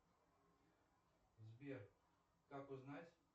сбер как узнать